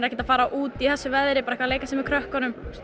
ekkert að fara út í þessu veðri bara eitthvað að leika sér með krökkunum